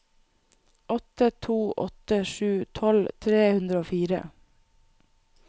åtte to åtte sju tolv tre hundre og fire